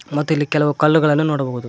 ಮತ್ತು ಇಲ್ಲಿ ಕೆಲವು ಕಲ್ಲುಗಳನ್ನು ನೋಡಬಹುದು.